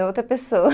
É outra pessoa.